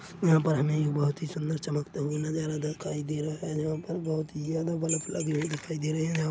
यहाँ पर हमे एक बहुत ही सुंदर चमकता हुआ नजरा दिखाई दे रही है जहां पर बहुत ही ज्यादा बल्ब लगे हुए दिखाई दे रहे है यहाँ